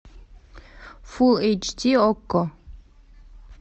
фулл эйч ди окко